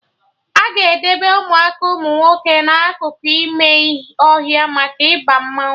Aga edebe Ụmụaka umunwoke na akụkụ ime ọhịa maka Ịba mmanwụ